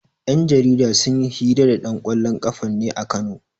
Yan jarida sun yi hira da ɗan ƙwallon ƙafan ne a Kano.